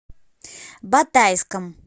батайском